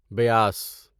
بیاس